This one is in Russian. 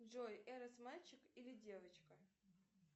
джой эрос мальчик или девочка